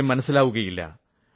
കാര്യം മനസ്സിലാക്കുകയേ ഇല്ല